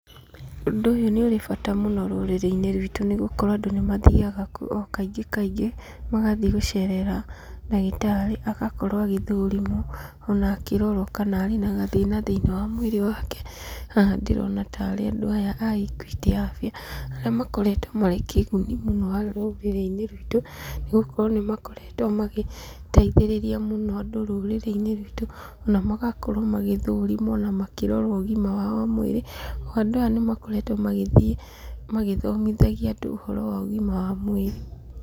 Ũndũ ũyũ nĩ ũrĩ bata mũno rũrĩrĩ-inĩ rwitũ, nĩgũkorwo andũ nĩmathiaga kuo o kaingĩ kaingĩ, magathiĩ gũcerera ndagĩtarĩ, agakorwo agĩthũrimwo ona akĩrorwo kana arĩ na gathĩna thĩiniĩ wa mwĩrĩ wake. Haha ndĩrona tarĩ andũ a ikuĩtĩ abia arĩa makoretwo marĩ kĩguni mũno harĩ rũrĩrĩinĩ ruitũ nĩgũkorwo nĩmakoretwo magĩteithĩrĩria mũno andũ rũrĩrĩ-inĩ ruitũ na magakorwo magĩthũrimwo na makĩrorwo ũgima wao wa mwĩrĩ. Andũ aya nĩmakoretwo magĩthiĩ magĩthomithagia andũ ũhoro wa ũgima wa mwĩrĩ.